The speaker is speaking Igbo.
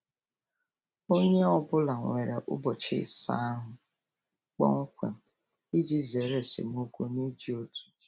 Onye ọ bụla nwere ụbọchị ịsa ahụ kpọmkwem iji zere esemokwu n'iji otu.